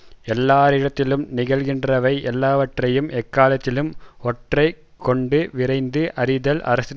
எல்லாரிடத்திலும் நிகழ்கின்றவை எல்லாவற்றையும் எக்காலத்திலும் ஒற்றரை கொண்டு விரைந்து அறிதல் அரசனுக்குரிய தொழிலாகும்